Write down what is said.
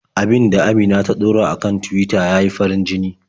Abin da Amina ta ɗora a kan Tuwita ya yi farin-jini.